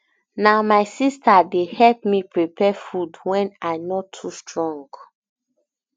na my sister dey help me prepare food wen i no too strong